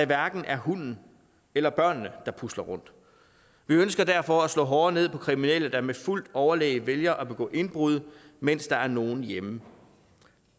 hverken hunden eller børnene der pusler rundt vi ønsker derfor at slå hårdere ned på kriminelle der med fuldt overlæg vælger at begå indbrud mens der er nogen hjemme